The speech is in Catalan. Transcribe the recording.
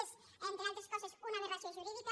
és entre altres coses una aberració jurídica